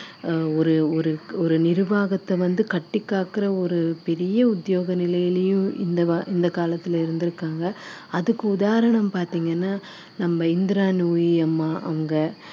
ஆஹ் ஒரு ஒரு ஒரு நிர்வாகத்தை வந்து கட்டிக் காக்குற ஒரு பெரிய உத்தியோக நிலையிலையும் இந்த இந்த காலத்துல இருந்திருக்காங்க அதுக்கு உதாரணம் பார்த்தீங்கன்னா நம்ம இந்திரா நூயி அம்மா அவங்க